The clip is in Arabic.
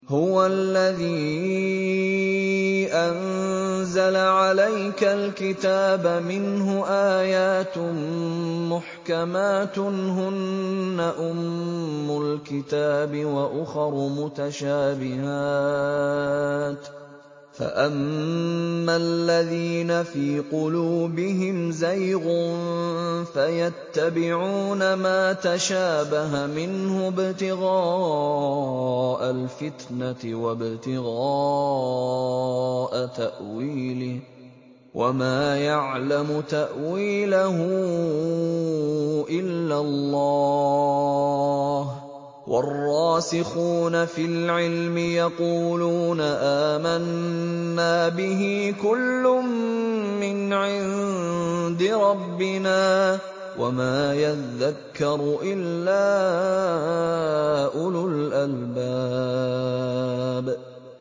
هُوَ الَّذِي أَنزَلَ عَلَيْكَ الْكِتَابَ مِنْهُ آيَاتٌ مُّحْكَمَاتٌ هُنَّ أُمُّ الْكِتَابِ وَأُخَرُ مُتَشَابِهَاتٌ ۖ فَأَمَّا الَّذِينَ فِي قُلُوبِهِمْ زَيْغٌ فَيَتَّبِعُونَ مَا تَشَابَهَ مِنْهُ ابْتِغَاءَ الْفِتْنَةِ وَابْتِغَاءَ تَأْوِيلِهِ ۗ وَمَا يَعْلَمُ تَأْوِيلَهُ إِلَّا اللَّهُ ۗ وَالرَّاسِخُونَ فِي الْعِلْمِ يَقُولُونَ آمَنَّا بِهِ كُلٌّ مِّنْ عِندِ رَبِّنَا ۗ وَمَا يَذَّكَّرُ إِلَّا أُولُو الْأَلْبَابِ